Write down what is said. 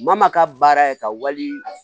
Maa maa ka baara ye ka wali